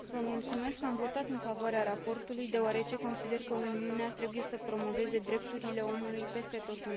Am votat în favoarea raportului, deoarece consider că Uniunea trebuie să promoveze drepturile omului peste tot în lume.